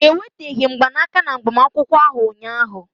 Ha eweteghị mgbanaka na agbamakwụkwọ ahụ ụnyaahụ.